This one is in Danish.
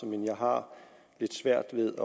men jeg har lidt svært ved